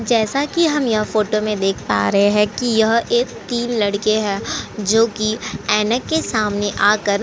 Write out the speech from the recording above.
जैसा कि हम यह फोटो में देख पा रहे हैं कि यह एक तीन लड़के हैं जो कि ऐना के सामने आकर --